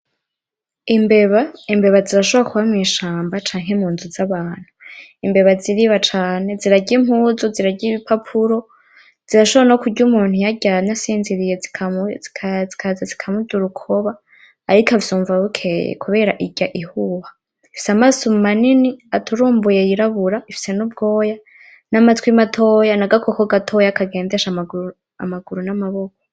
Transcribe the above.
Imbeba, imbeba zishobora kuba mw'ishamba canke m'unzu z’abantu. Imbeba ziriba cane, zirarya imbuzu, zirarya ibipapuro, zishobora no kurya umuntu iyo aryamye asinziriye zikaza zikamudurukoba ariko akavyumva bukeya kubera irya ihuha. Ifise amaso manini aturumbuye yirabura, ifise n’ubwoya n’amatwi matoya n’agakoko gatoya kagendesha amaguru n’amaboko.